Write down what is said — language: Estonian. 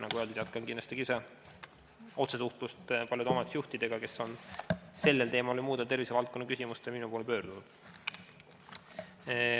Nagu öeldud, olen kindlasti ka ise otsesuhtluses paljude omavalitsusjuhtidega, kes on sellel teemal ja muude tervisevaldkonna küsimustega minu poole pöördunud.